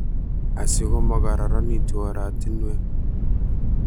asigo magararanitu oratinwek